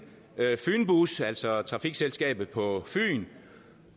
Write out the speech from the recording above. fynbus altså trafikselskabet på fyn